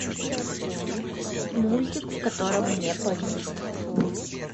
мультик в котором не поют